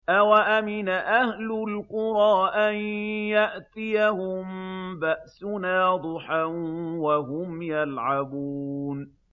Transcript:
أَوَأَمِنَ أَهْلُ الْقُرَىٰ أَن يَأْتِيَهُم بَأْسُنَا ضُحًى وَهُمْ يَلْعَبُونَ